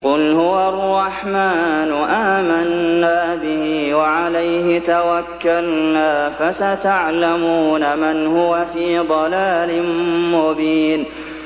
قُلْ هُوَ الرَّحْمَٰنُ آمَنَّا بِهِ وَعَلَيْهِ تَوَكَّلْنَا ۖ فَسَتَعْلَمُونَ مَنْ هُوَ فِي ضَلَالٍ مُّبِينٍ